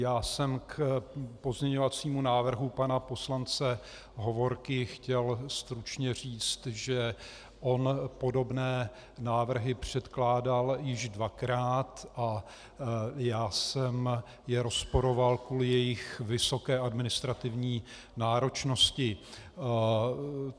Já jsem k pozměňovacímu návrhu pana poslance Hovorky chtěl stručně říct, že on podobné návrhy předkládal již dvakrát a já jsem je rozporoval kvůli jejich vysoké administrativní náročnosti.